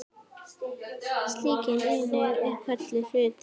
Slík eining er kölluð hlutur.